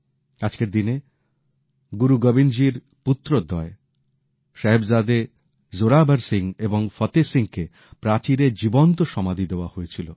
আজকের দিনে গুরু গোবিন্দজীর পুত্রদ্বয় সাহিবজাদে জোরাবর সিং এবং ফতেহ সিংকে প্রাচীরে জীবন্ত সমাধি দেওয়া হয়েছিল